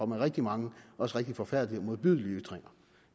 med rigtig mange også rigtig forfærdelige og modbydelige ytringer